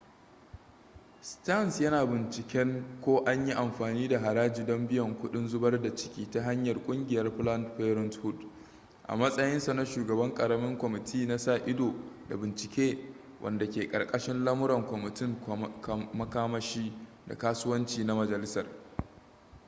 stearns yana binciken ko an yi amfani da haraji don biyan kuɗin zubar da ciki ta hanyar ƙungiyar planned parenthood a matsayinsa na shugaban ƙaramin kwamiti na sa-ido da bincike wanda ke karkashin lamuran kwamitin makamashi da kasuwanci na majalisar